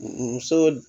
Muso